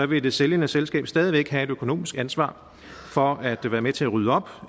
vil det sælgende selskab stadig væk have et økonomisk ansvar for at være med til at rydde op